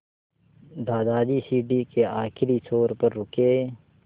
दादाजी सीढ़ी के आखिरी छोर पर रुके